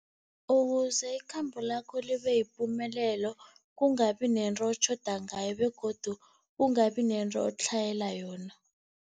Ukuze ikhambo lakho libe yipumelelo, kungabi nento otjhoda ngayo begodu kungabi nento otlhayela yona.